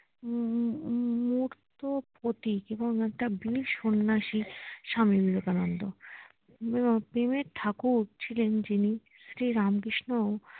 উম মূর্ত প্রতীক এবং একটা বীর সন্ন্যাসী স্বামী বিবেকানন্দ প্রেমের ঠাকুর ছিলেন যিনি শ্রী রামকৃষ্ণ